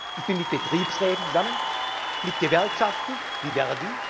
Ich bin mit Betriebsräten zusammen, mit Gewerkschaften wie